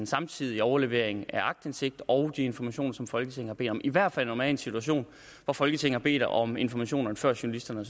samtidig overlevering af aktindsigt og de informationer som folketinget har bedt om i hvert fald når man en situation hvor folketinget har bedt om informationerne før journalisterne